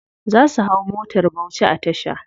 Za su hau motar bauchi a tasha.